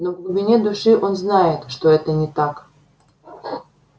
но в глубине души он знает что это не так